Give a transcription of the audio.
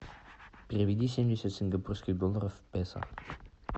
переведи семьдесят сингапурских долларов в песо